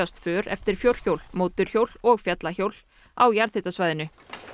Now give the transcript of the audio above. för eftir fjórhjól mótorhjól og fjallahjól á jarðhitasvæðinu